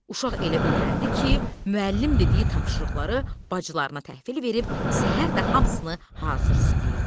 Uşaq elə öyrəndi ki, müəllim dediyi tapşırıqları bacılarına təhvil verib səhər də hamısını hazır istəyirdi.